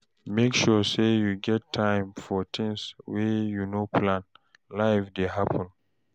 Make sure sey you get time for tins wey you no plan, life dey happen.